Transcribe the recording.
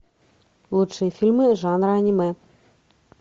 лучшие фильмы жанра аниме